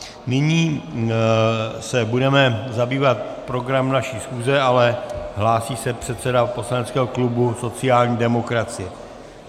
Nyní se budeme zabývat programem naší schůze, ale hlásí se předseda poslaneckého klubu sociální demokracie.